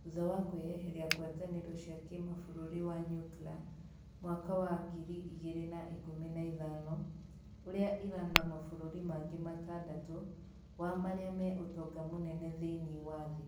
thutha wa kwĩyeheria ngwatanĩro cĩa kĩmabũrũri wa Nyukla mwaka wa ngiri igĩrĩ na ikumi na ithano, ũrĩa Iran na mabũrũri mangĩ matandatu wa marĩa me utonga munene thĩ-inĩ wa thĩ .